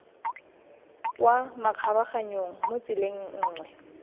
kwa makgabaganyong mo tseleng nngwe